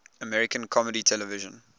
american comedy television